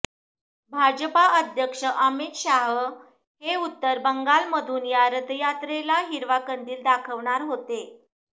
भाजपा अध्यक्ष अमित शाह हे उत्तर बंगालमधून या रथयात्रेला हिरवा कंदील दाखवणार होते